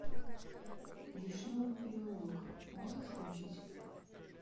вишневый переулок можешь включить